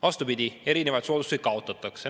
Vastupidi, erinevaid soodustusi kaotatakse.